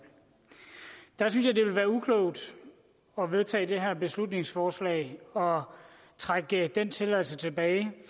jeg synes det ville være uklogt at vedtage det her beslutningsforslag og trække den tilladelse tilbage